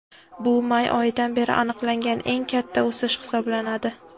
Bu may oyidan beri aniqlangan eng katta o‘sish hisoblanadi.